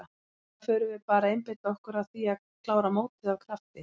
Núna förum við bara að einbeita okkur að því að klára mótið af krafti.